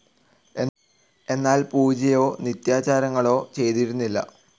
എന്നാൽ പൂജയോ നിത്യാചാരങ്ങളോ ചെയ്തിരുന്നില്ല.